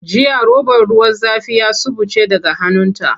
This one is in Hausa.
Jiya robar ruwa zafi ya suɓuce daga hannunta.